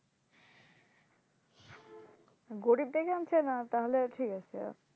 গরিব দেখে আনছেনা তাহলে ঠিক আছে